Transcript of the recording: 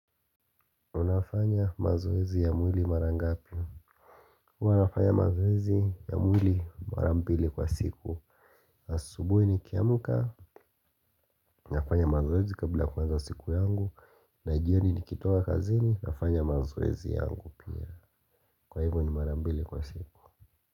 Unafanya mazoezi ya mwili mara ngapi. Huwa nafanya mazoezi ya mwili mara mbili kwa siku. Asubuhi nikiamka. Unafanya mazoezi kabla ya kuanza siku yangu. Najioni nikitoka kazini nafanya mazoezi yangu pia. Kwa hivo ni marambili kwa siku.